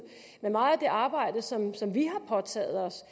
men meget af det arbejde som som vi har påtaget os